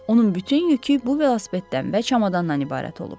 Onun bütün yükü bu velosipeddən və çamadandan ibarət olub.